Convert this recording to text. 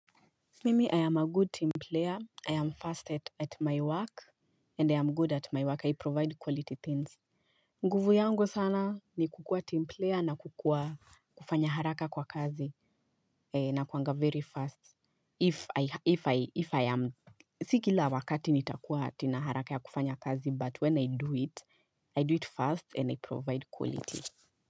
Mimi I am a good team player. I am fast at my work and i am good at my work. I provide quality things. Nguvu yangu sana ni kukua team player na kukua kufanya haraka kwa kazi nakuaga very fast if I am Sikila wakati nitakuwa ati na haraka ya kufanya kazi but when I do it i do it fast and i provide quality.